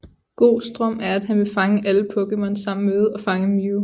Gohs drøm er at han vil fange alle Pokémon samt møde og fange Mew